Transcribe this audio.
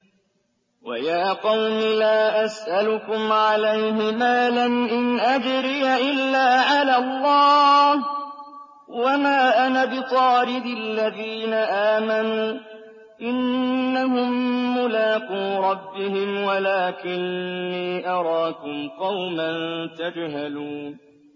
وَيَا قَوْمِ لَا أَسْأَلُكُمْ عَلَيْهِ مَالًا ۖ إِنْ أَجْرِيَ إِلَّا عَلَى اللَّهِ ۚ وَمَا أَنَا بِطَارِدِ الَّذِينَ آمَنُوا ۚ إِنَّهُم مُّلَاقُو رَبِّهِمْ وَلَٰكِنِّي أَرَاكُمْ قَوْمًا تَجْهَلُونَ